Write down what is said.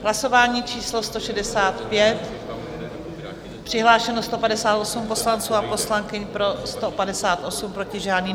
Hlasování číslo 165, přihlášeno 158 poslanců a poslankyň, pro 158, proti žádný.